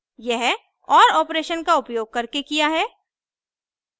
यह or operation का उपयोग करके किया है